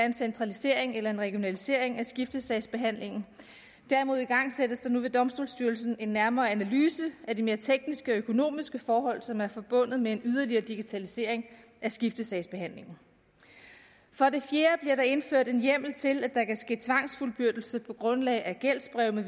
en centralisering eller en regionalisering af skiftesagsbehandlingen derimod igangsættes nu ved domstolsstyrelsen en nærmere analyse af de mere tekniske og økonomiske forhold som er forbundet med en yderligere digitalisering af skiftesagsbehandlingen for det fjerde bliver der indført en hjemmel til at der kan ske tvangsfuldbyrdelse på grundlag af gældsbreve